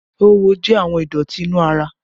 Oówo jẹ àwọn ìdọ̀tí inú ara